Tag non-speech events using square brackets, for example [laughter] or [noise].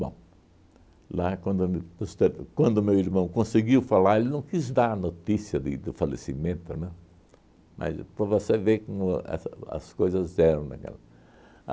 Bom, lá quando me [unintelligible] quando meu irmão conseguiu falar, ele não quis dar a notícia de do falecimento, né? Mas para você ver como as as coisas eram naquela.